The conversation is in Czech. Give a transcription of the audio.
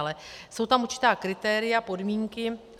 Ale jsou tam určitá kritéria, podmínky.